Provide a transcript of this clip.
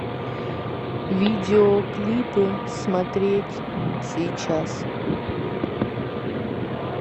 видеоклипы смотреть сейчас